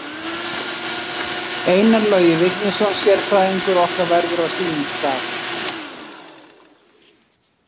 Einar Logi Vignisson sérfræðingur okkar verður á sínum stað.